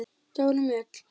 Dóra Mjöll.